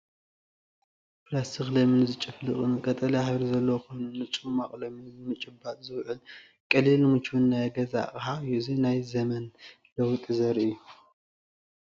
ፕላስቲክ ለሚን ዝጭፍልቕ ፣ቀጠልያ ሕብሪ ዘለዎ ኮይኑ፡ ንጽማቝ ለሚን ንምጭባጥ ዝውዕል ቀሊልን ምቹውን ናይ ገዛ ኣቕሓ እዩ። እዚ ናይ ዘመን ለውጢ ዘርኢ እዩ።